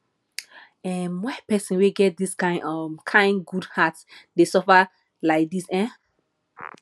um why pesin wey get dis um kain good heart dey suffer lai dis um